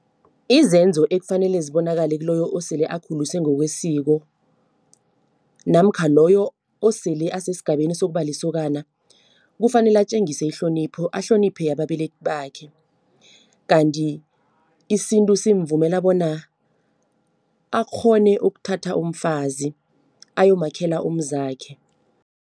Izenzo ekufanele zibonakale kiloyo osele akhuliswe ngokwesiko namkha loyo osele asesigabeni sokuba lisokana. Kufanele atjengise ihlonipho, ahloniphe ababelethi bakhe. Kanti isintu simvumela bona akghone ukuthatha umfazi, ayomakhela umzakhe.